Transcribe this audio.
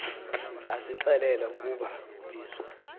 asixelela ukuba ubizo